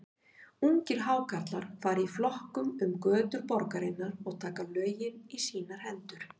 Ungir Hákarlar fara í flokkum um götur borgarinnar og taka lögin í sínar hendur.